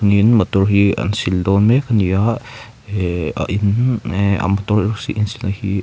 niin motor hi an sil dawn mek a ni a ihh hi--